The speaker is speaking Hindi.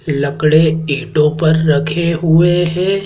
लकड़े ईटों पर रखे हुए हैं।